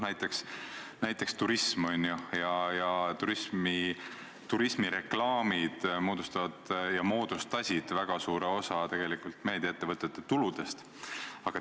Näiteks turism, aga turismireklaamid moodustavad ja moodustasid väga suure osa meediaettevõtete tuludest.